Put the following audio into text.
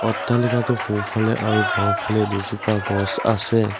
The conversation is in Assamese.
অট্টালিকাটোৰ সোঁফালে আৰু বাওঁফালে দুজোপা গছ আছে।